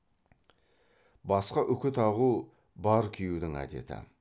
басқа үкі тағу бар күйеудің әдеті